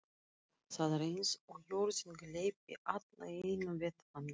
Það er eins og jörðin gleypi alla í einu vetfangi.